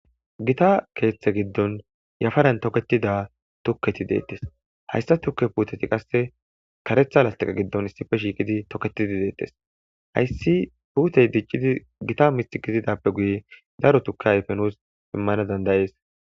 Gita leeyha gidon yafaran toketida tukeyi deeyes haysa tuke puuteti qase karetha lastiqe gidon issipe shiiqidi toketidi deetes. Hausinpuutey dicidi Gita mithi kezidappe guye daro tuke ayfe nus imana danda'es